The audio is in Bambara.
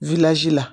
la